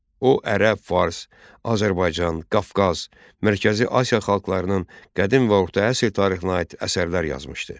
O ərəb, fars, Azərbaycan, Qafqaz, Mərkəzi Asiya xalqlarının qədim və orta əsr tarixinə aid əsərlər yazmışdı.